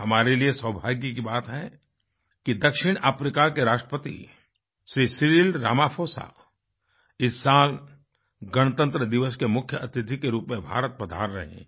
हमारे लिए सौभाग्य की बात है कि दक्षिण अफ्रीका के राष्ट्रपति श्री सिरिल रामाफोसा इस साल गणतंत्र दिवस के मुख्य अतिथि के रूप में भारत पधार रहे हैं